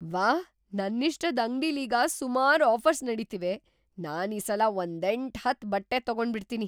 ವಾಹ್! ನನ್ನಿಷ್ಟದ್‌ ಅಂಗ್ಡಿಲೀಗ ಸುಮಾರ್‌ ಆಫರ್ಸ್‌ ನಡೀತಿವೆ. ನಾನೀಸಲ ಒಂದೆಂಟ್ ಹತ್ತ್‌ ಬಟ್ಟೆ ತಗೊಂಬಿಡ್ತೀನಿ.